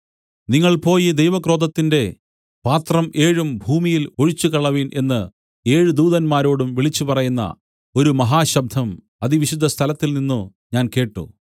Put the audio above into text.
നിങ്ങൾ പോയി ദൈവക്രോധത്തിന്റെ പാത്രം ഏഴും ഭൂമിയിൽ ഒഴിച്ചുകളവിൻ എന്നു ഏഴ് ദൂതന്മാരോടും വിളിച്ചുപറയുന്ന ഒരു മഹാശബ്ദം അതിവിശുദ്ധ സ്ഥലത്തിൽ നിന്നു ഞാൻ കേട്ട്